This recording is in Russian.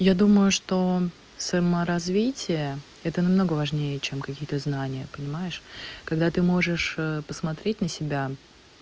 я думаю что саморазвития это намного важнее чем какие-то знания понимаешь когда ты можешь посмотреть на себя